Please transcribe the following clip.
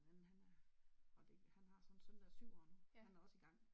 Men han er og det han har så en søn der er syv år nu. Han er også i gang